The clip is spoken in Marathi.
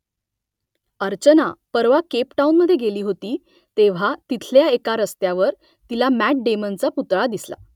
अर्चना परवा केपटाऊनमधे गेली होती तेव्हा तिथल्या एका रस्त्यावर तिला मॅट डेमनचा पुतळा दिसला